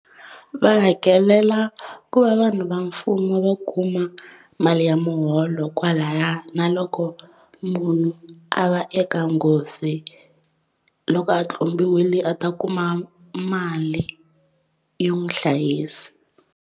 Va hakelela ku va vanhu va mfumo va kuma mali ya muholo kwalaya na loko munhu a va eka nghozi loko a tlumbiwile a ta kuma mali yo n'wi hlayisa.